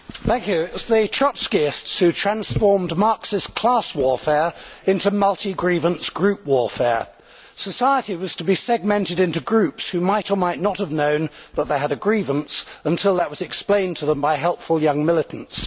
Madam President, it was the Trotskyists who transformed Marxist class warfare into multi grievance group warfare. Society was to be segmented into groups, who might or might not have known that they had a grievance until that was explained to them by helpful young militants.